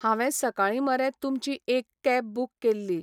हांवें सकाळी मरे तुमची एक कॅब बुक केल्ली.